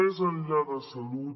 més enllà de salut